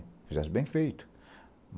Fizesse bem feito.